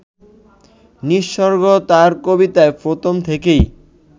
নিসর্গ তাঁর কবিতায় প্রথম থেকেই